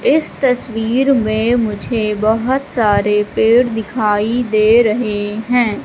इस तस्वीर में मुझे बहोत सारे पेड़ दिखाई दे रहे हैं।